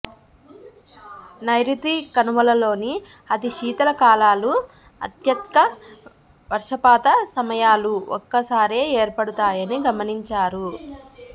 నైరుతి కనుమలలోని అతి శీతల కాలాలు అత్యధ్క వర్షపాత సమయాలూ ఒక్కసారే ఏర్పడతాయని గమనించారు